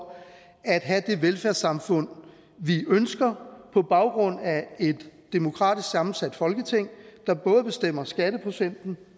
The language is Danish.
at have det velfærdssamfund vi ønsker på baggrund af et demokratisk sammensat folketing der både bestemmer skatteprocenten